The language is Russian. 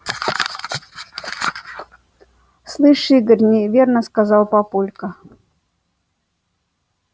слышь игорь неверно сказал папулька